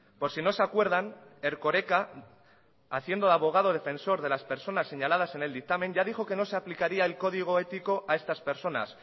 por si no se acuerdan erkoreka haciendo de abogado defensor de las personas señaladas en el dictamen ya dijo que no se aplicaría el código ético a estas personas